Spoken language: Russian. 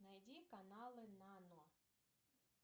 найди каналы нано